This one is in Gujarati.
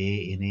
એ એને